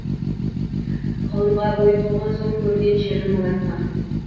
ғылымға бойы толған соң көрген жерін молайтқан